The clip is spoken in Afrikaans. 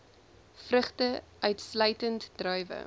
vrugte uitsluitend druiwe